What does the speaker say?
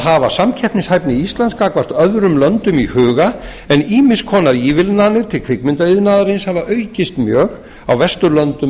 hafa samkeppnishæfni íslands gagnvart öðrum löndum í huga en ýmiss konar ívilnanir til kvikmyndaiðnaðarins hafa aukist mjög á vesturlöndum